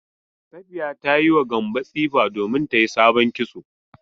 Safiya ta yi ma Gambo tsifa domin ta yi sabon kitso.